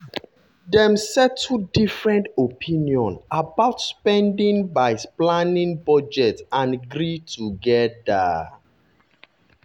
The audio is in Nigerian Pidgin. dem settle different opinion about spending by planning budget and gree together.